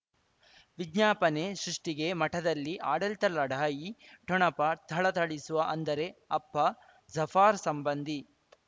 ವಿಜ್ಞಾಪನೆ ಸೃಷ್ಟಿಗೆ ಮಠದಲ್ಲಿ ಆಡಳಿತ ಲಢಾಯಿ ಠೊಣಪ ಥಳಥಳಿಸುವ ಅಂದರೆ ಅಪ್ಪ ಜಫಾರ್ ಸಂಬಂಧಿ